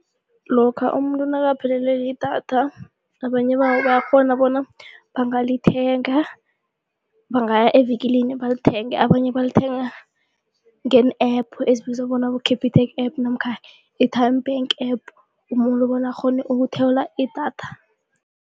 Lokha umuntu nakaphelelwe lidatha abanye babo bayakghona bona bangalithenga bangaya evikilini balithenge abanye balithenga ngeen-App ezibizwa bona-Capitec App namkha i-Tyme Bank App, umuntu bona bakghone ukuthola idatha.